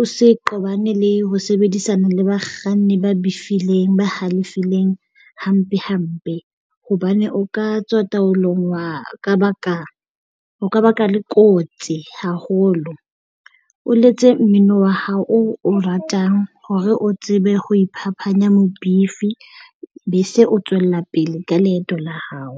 o se qabane le ho sebedisana le bakganni ba bifileng, ba halefileng hampe hampe. Hobane o ka tswa taolong wa ka baka o ka baka le kotsi haholo. O letse mmino wa hao oo o ratang hore o tsebe ho iphaphanya mobifi be se o tswella pele ka leeto la hao.